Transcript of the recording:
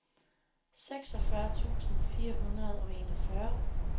seksogfyrre tusind fire hundrede og enogfyrre